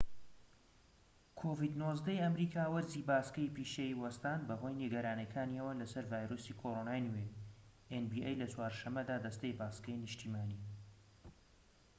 لە چوار شەمەدا دەستەی باسکەی نیشتیمانی nba ی ئەمریکا وەرزی باسکەی پیشەیی وەستان بەهۆی نیگەرانیەکانەوە لەسەر ڤایرۆسی کۆرۆنای نوێ-covid-19